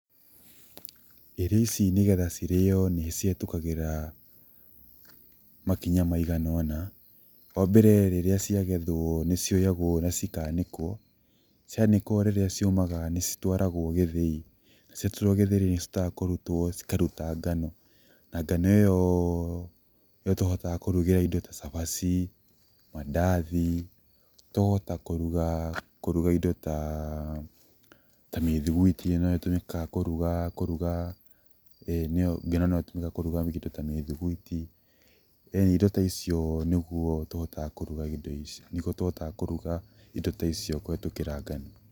Irio ici nĩgetha nĩ cirĩo nĩ cihetũkagĩra makinya maiganona, wa mbere rĩrĩa cia gethwo, nĩ cioyagwo na cikanĩkwo, cianĩkwo rĩrĩa ciũmaga nĩ citwaragwo gĩthiĩ na cia twarwo gĩthĩi nĩ cihotaga kũrutwo cikaruta ngano na ngano ĩyo nĩyo tũhotaga kũrugĩra indo ta cabaci, mandathi, tũkahota kũruga indo ta mĩthuguiti nĩ tũmĩkaga kũruga, kũruga, ngano no ĩtũmĩje kũruga indo ta mĩthuguiti, ĩnĩ indo ta icio ũguo nĩguo tũhotaga kũruga indo ta icio kũhetũkĩra ngano.